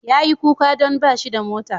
Yayi kuka don bashi da mota.